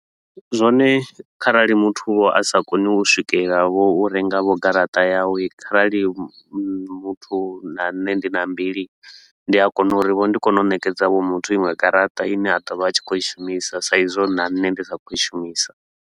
Zwone kharali muthu a sa koni u swikelela vho u renga vho garaṱa yawe kharali muthu na nṋe ndi na mbili, ndi a kona uri vho ndi kone u nekedza vho muthu iṅwe garaṱa ine a ḓo vha a tshi khou i shumisa sa i zwo na nṋe ndi sa khou i shumisa.